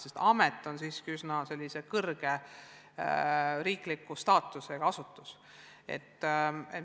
Sest amet on siiski üsna kõrge riikliku staatusega asutus.